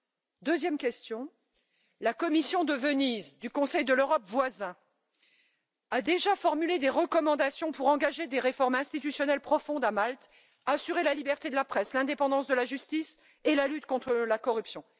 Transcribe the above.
La deuxième question est la suivante la commission de Venise, du Conseil de l'Europe voisin, a déjà formulé des recommandations pour engager des réformes institutionnelles en profondeur à Malte, assurer la liberté de la presse, l'indépendance de la justice et la lutte contre la corruption.